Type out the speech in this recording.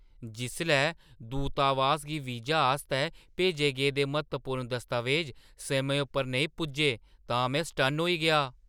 जिसलै दूतावास गी वीज़े आस्तै भेजे गेदे म्हत्तवपूर्ण दस्तावेज समें उप्पर नेईं पुज्जे तां में सटन्न होई गेआ।